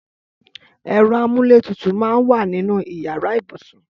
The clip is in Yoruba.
Ẹrọ àmúlétútú mà n wà ninú iyàrá ibúsún